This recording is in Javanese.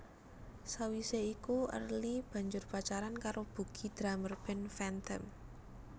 Sawise iku Early banjur pacaran karo Bugi drummer band Phantom